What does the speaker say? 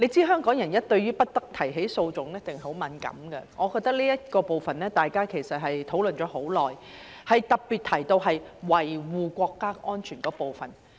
香港人對於"不得提起訴訟"一定很敏感，大家就這部分討論了很久，特別提到維護國家安全的部分。